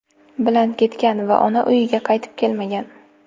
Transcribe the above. bilan ketgan va ona uyiga qaytib kelmagan.